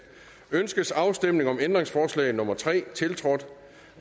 ønskes afstemning om ændringsforslag nummer tre tiltrådt